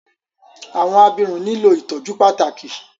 Awọn abirun nilo ìtọjú pàtàkì